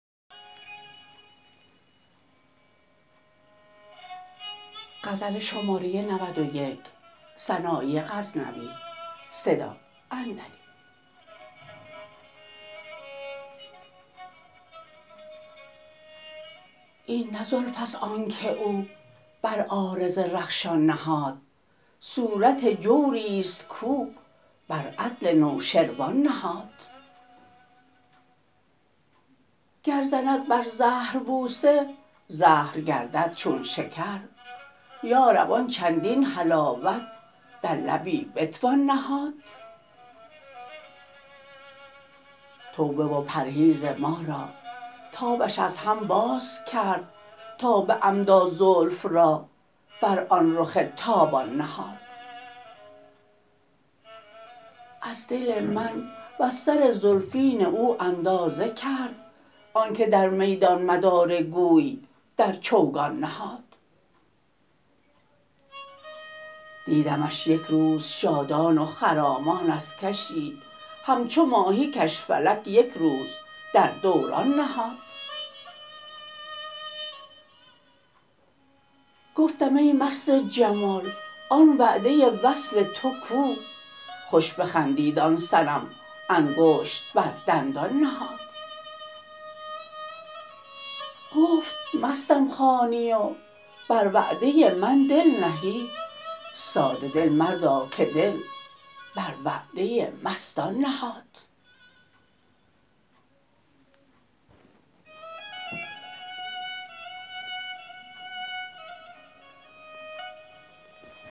این نه زلفست آنکه او بر عارض رخشان نهاد صورت جوریست کو بر عدل نوشروان نهاد گر زند بر زهر بوسه زهر گردد چون شکر یارب آن چندین حلاوت در لبی بتوان نهاد توبه و پرهیز ما را تابش از هم باز کرد تا به عمدا زلف را بر آن رخ تابان نهاد از دل من وز سر زلفین او اندازه کرد آنکه در میدان مدار گوی در چوگان نهاد دیدمش یک روز شادان و خرامان از کشی همچو ماهی کش فلک یک روز در دوران نهاد گفتم ای مست جمال آن وعده وصل تو کو خوش بخندید آن صنم انگشت بر دندان نهاد گفت مستم خوانی و بر وعده من دل نهی ساده دل مردا که دل بر وعده مستان نهاد